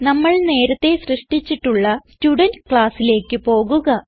നമ്മൾ നേരത്തേ സൃഷ്ടിച്ചിട്ടുള്ള സ്റ്റുഡെന്റ് classലേക്ക് പോകുക